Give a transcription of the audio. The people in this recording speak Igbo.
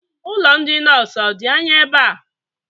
Ụlọ ndị nọọsụ ọ dị anya ebe a?